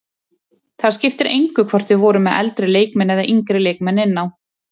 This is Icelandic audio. Það skipti engu hvort við vorum með eldri leikmenn eða yngri leikmenn inn á.